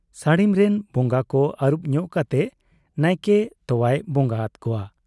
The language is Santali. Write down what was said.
ᱥᱟᱹᱲᱤᱢᱨᱤᱱ ᱵᱚᱝᱜᱟ ᱠᱚ ᱟᱹᱨᱩᱵᱽ ᱧᱚᱜ ᱠᱟᱛᱮ ᱱᱟᱭᱠᱮ ᱛᱚᱣᱟᱭ ᱵᱚᱝᱜᱟ ᱟᱫ ᱠᱚᱣᱟ ᱾